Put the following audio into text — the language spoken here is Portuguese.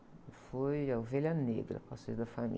Eu fui a ovelha negra, da família.